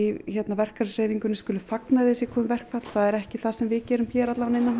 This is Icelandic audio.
verkalýðshreyfingarinnar skuli fagna því sé komið verkfall það er ekki það sem við gerum hér hérna innanhúss